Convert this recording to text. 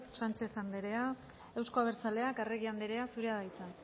sánchez andrea euzko abertzaleak arregi andrea zurea da hitza